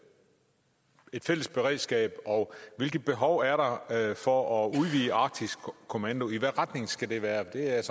et fælles beredskab og hvilket behov er der for at udvide arktisk kommando i hvilken retning skal det være det er jeg